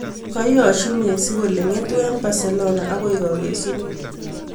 ka iyo-os mesi kole ngetu en Barcelona agoi kagesuneet